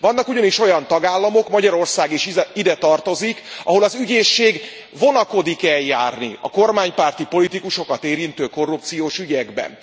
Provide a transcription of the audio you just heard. Vannak ugyanis olyan tagállamok Magyarország is ide tartozik ahol az ügyészség vonakodik eljárni a kormánypárti politikusokat érintő korrupciós ügyekben.